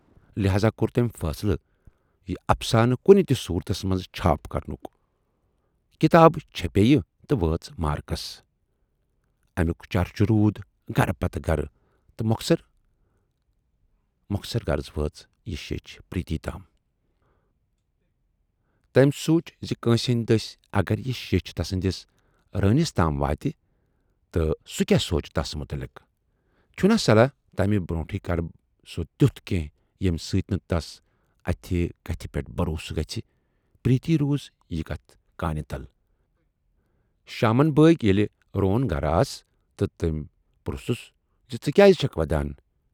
لہذا کور تمٔۍ فاصلہٕ یہِ افسانہٕ کُنہِ تہِ صوٗرتس منز چھاپ کرنُک۔ کِتاب چھپے یہِ تہٕ وٲژ مارکس۔ امیُک چرچہِ روٗد گرٕ پتہٕ گرٕ تہٕ مۅخصر غرض وٲژ یہِ شیچھ پریٖتی تام۔ تمٔۍ سوٗنچ زِ کٲنسہِ ہٕندۍ دٔسۍ اگر یہِ شیچھ تسٕندِس رٍنِس تام وٲتہِ تہٕ سُہ کیاہ سونچہِ تَس مُتلق۔ چھُنا صلاح تمہِ برونہے کرٕ سۅ تیوٗت کینہہ ییمہِ سٍتۍ نہٕ تَس اتھ کتھِ پٮ۪ٹھ بھروسہٕ گژھِ۔ پریتی روٗز یہِ کتَھ کانہِ تل۔ شامن بٲگۍ ییلہِ روٗن گَرٕ آس تہٕ تمٔۍ پرُژھنَسژٕ کیازِ چھَکھ وَدان؟